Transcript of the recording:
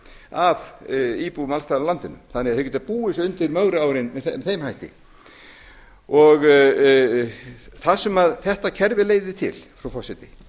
af íbúum alls staðar á landinu þannig að þeir geta búið sig undir mögru árin með þeim hætti það sem þetta kerfi leiðir til frú forseti